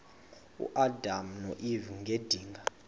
uadam noeva ngedinga